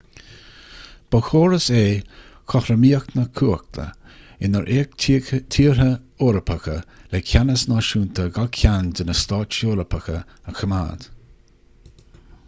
ba chóras é cothromaíocht na cumhachta inar fhéach tíortha eorpacha le ceannas náisiúnta gach ceann de na stáit eorpacha a choimeád